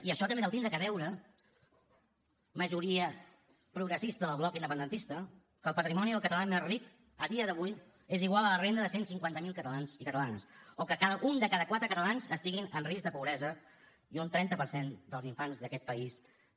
i això també deu tindre a veure majoria progressista del bloc independentista que el patrimoni del català més ric a dia d’avui sigui igual a la renda de cent i cinquanta miler catalans i catalanes o que un de cada quatre catalans estiguin en risc de pobresa i un trenta per cent dels infants d’aquest país també